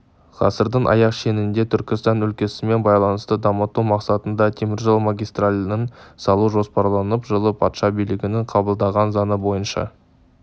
ғасырдың аяқ шенінде түркістан өлкесімен байланысты дамыту мақсатында теміржол магистральін салу жоспарланып жылы патша билігінің қабылдаған заңы бойынша